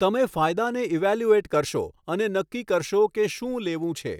તમે ફાયદાને ઇવેલ્યુએટ કરશો અને નક્કી કરશો કે શું લેવું છે.